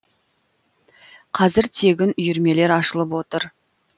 қазір тегін үйірмелер ашылып отыр